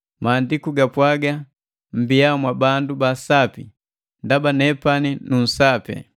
Maandiku gapwaaga: “Mmbiya mwabandu ba sapi, ndaba nepani nu sapi.”